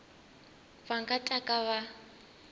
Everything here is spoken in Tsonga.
va nga ta ka va